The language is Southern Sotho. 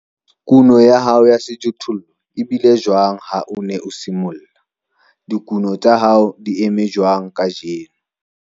Kuno ya hao ya sejothollo e bile jwang ha o ne o simolla? Dikuno tsa hao di eme jwang kajeno?